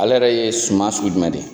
Alɛ yɛrɛ ye suma sugu jumɛ de?